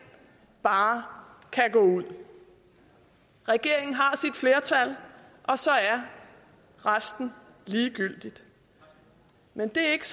bare kan gå ud regeringen har sit flertal og så er resten ligegyldigt men det er ikke